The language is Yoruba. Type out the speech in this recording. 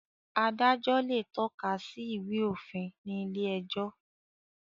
Adájọ́ le tọ́ka sí Ìwé-òfin ní ilé-ẹjọ́.